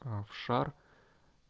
а в шар